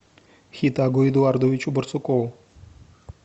хетагу эдуардовичу барсукову